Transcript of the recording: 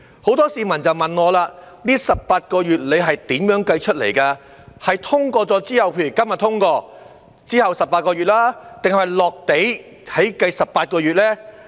很多市民也問我，這18個月是如何計算，是以《條例草案》通過後計，即今天通過後的18個月，還是"落地"起計的18個月呢？